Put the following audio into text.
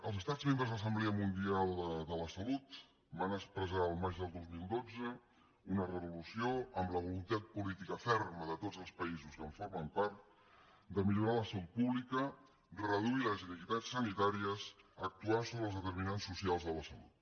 els estats membres de l’assemblea mundial de la salut van expressar el maig del dos mil dotze una resolució amb la voluntat política ferma de tots els països que en formen part de millorar la salut pública reduir les inequitats sanitàries actuant sobre els determinants socials de la salut